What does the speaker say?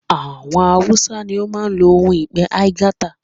Àwọn Hausa ní o máa n lo ohun ìpe aigaita